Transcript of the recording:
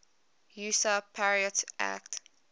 usa patriot act